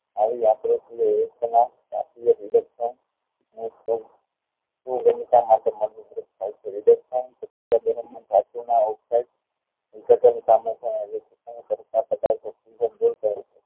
આવી યાન્ત્રિક્ષ યુગ્મ ના